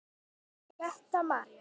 Setta María.